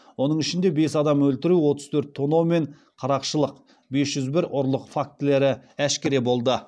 оның ішінде бес адам өлтіру отыз төрт тонау мен қарақшылық бес жүз бір ұрлық фактілері әшкере болды